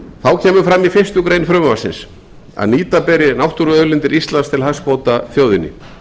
kemur fram í fyrstu grein frumvarpsins að nýta beri náttúruauðlindir íslands til hagsbóta þjóðinni